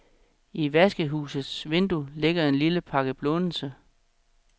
I vaskehusets vindue ligger en lille pakke blånelse.